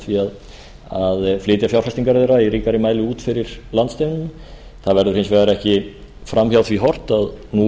með því að flytja fjárfestingar þeirra út fyrir landsteinana það verður hins vegar ekki fram hjá því horft að nú